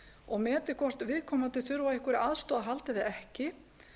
og metið hvort viðkomandi þurfi á einhverri aðstoð að halda eða ekki